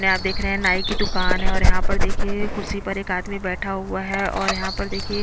ने आप देख रहे है नाई की दुकान है और यहाँ पर देखिये कुर्सी पर एक आदमी बैठा हुआ है और यहाँ पर देखिये--